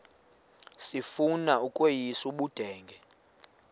sifuna ukweyis ubudenge